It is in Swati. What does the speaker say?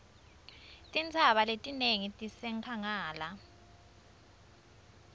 tintsaba letinengi tisenkhangala